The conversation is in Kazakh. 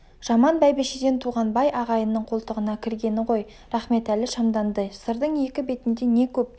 жаман бәйбішеден туған бай ағайынның қолтығына кіргені ғой рахметәлі шамданды сырдың екі бетінде не көп